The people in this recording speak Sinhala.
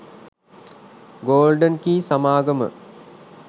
ගෝල්ඩන් කී සමාගම